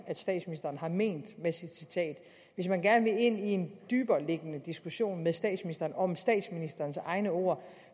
statsministeren har ment med sit citat hvis man gerne vil ind i en dybereliggende diskussion med statsministeren om statsministerens egne ord